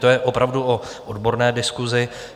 To je opravdu o odborné diskusi.